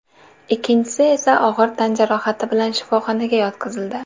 Ikkinchisi esa og‘ir tan jarohati bilan shifoxonaga yotqizildi.